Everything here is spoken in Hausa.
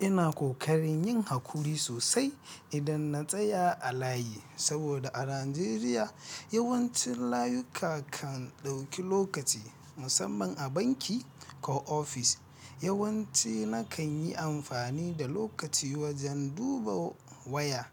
Ina ƙoƙarin yin hakuri sosai idan na tsaya a layi, saboda a Najeriya yawancin layuka kan ɗauki lokaci, musamman a banki ko ofis. Yawanci nakan yi amfani da lokaci wajen duba waya,